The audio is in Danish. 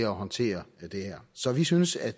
håndtere det her så vi synes at